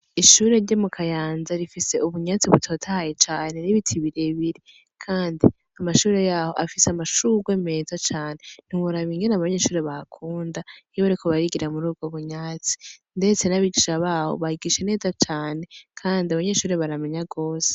Ishure ryo mu Kayanza rifise ubunyatsi butotahaye cane n'ibiti birebire. Kandi amashure yaho afise amashurwe meza cane. Ntiworaba ingene abanyeshure bahakunda iyo bariko barigira muri ubwo bunyatsi. Ndetse n'abigisha baho bigisha neza cane kandi abanyeshure baramenya rwose.